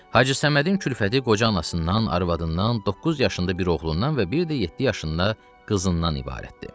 Hacı Səmədin külfəti qoca anasından, arvadından, doqquz yaşında bir oğlundan və bir də yeddi yaşında qızından ibarətdir.